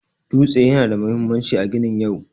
Dutse yana da mahimmanci a ginin yau.